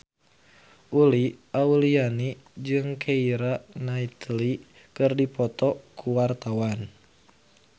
Uli Auliani jeung Keira Knightley keur dipoto ku wartawan